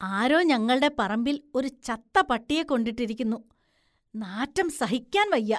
ആരോ ഞങ്ങള്‍ടെ പറമ്പില്‍ ഒരു ചത്ത പട്ടിയെ കൊണ്ടിട്ടിരിക്കുന്നു, നാറ്റം സഹിക്കാന്‍ വയ്യ.